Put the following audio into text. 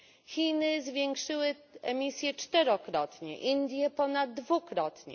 Chiny zwiększyły emisje czterokrotnie, Indie ponad dwukrotnie.